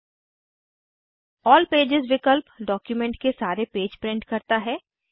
अल्ल pages विकल्प document के सारे पेज प्रिंट करता है